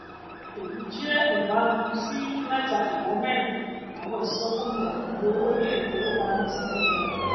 èyí jẹ jẹ ìbámu sí mẹta idà mérin àwọn ìsọfúnni àkànlò owó iléifowopamọ cbn